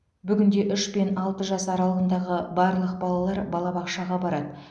бүгінде үш пен алты жас аралығындағы барлық балалар балабақшаға барады